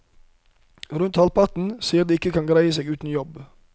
Rundt halvparten sier de ikke kan greie seg uten jobb.